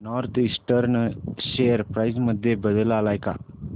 north Eastern share price मध्ये बदल आलाय का